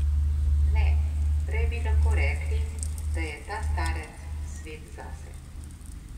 Ne, prej bi lahko rekli, da je ta starec svet zase.